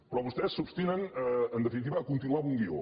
però vostès s’obstinen en definitiva a continuar amb un guió